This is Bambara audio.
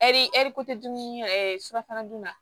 Ɛri ɛri ko tɛ dumuni surafana dun na